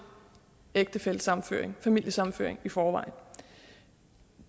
ægtefællesammenføring familiesammenføring i forvejen